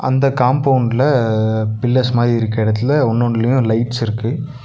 அந்த காம்பவுண்டுல பில்லர்ஸ் மாரி இருக்க எடத்துல ஒன்னு ஒன்னுலயு லைட்ஸ் இருக்கு.